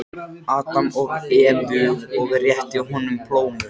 Adam og Evu og rétti honum plómu.